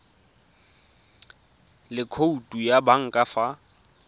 le khoutu ya banka fa